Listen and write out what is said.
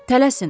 Tələsin.